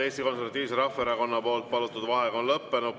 Eesti Konservatiivse Rahvaerakonna palutud vaheaeg on lõppenud.